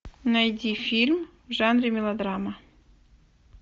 найди фильм в жанре мелодрама